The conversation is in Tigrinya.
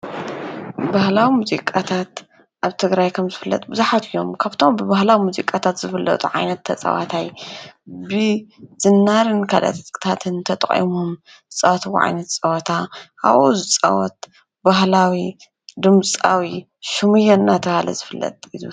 ባህላዊ ሙዚቃታት ኣብ ትግራይ ከምዝፍለጥ ብዙሓት እዮም፡፡ ካብቶም ብባህላዊ ሙዚቃታት ዝፍለጥ ዓይነት ተፃዋታይ ብዝናርን ካልኦት ዕጥቅታትን ተጠቒሞም ዝፃወትዎ ዓይነት ፀወታ ኣብኡ ዝፃወት ባህላዊ ድምፃዊ ሹምየ እናተባህለ ዝፍለጥ።